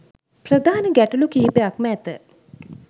ප්‍රධාන ගැටලු කිහිපයක්ම ඇත.